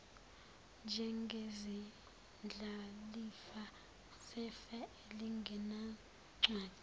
njengezindlalifa zefa elingenancwadi